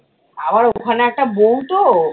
আবার ওখানে একটা বৌ তো